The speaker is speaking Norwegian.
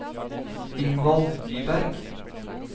Ingvald Nyberg